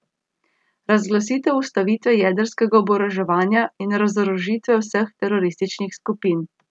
Razglasitev ustavitve jedrskega oboroževanja in razorožitve vseh terorističnih skupin.